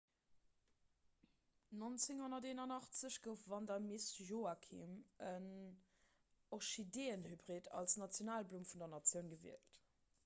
1981 gouf vanda miss joaquim en orchideeënhybrid als nationalblumm vun der natioun gewielt